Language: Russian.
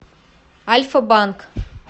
альфа банк